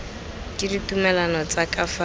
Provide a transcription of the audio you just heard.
ke ditumalano tsa ka fa